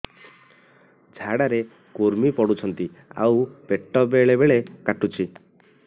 ଝାଡା ରେ କୁର୍ମି ପଡୁଛନ୍ତି ଆଉ ପେଟ ବେଳେ ବେଳେ କାଟୁଛି